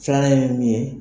Filanan ye min ye